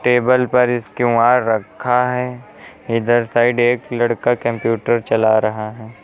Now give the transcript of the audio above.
Table पर इस QR रखा है इधर साइड एक लड़का कंप्यूटर चला रहा है।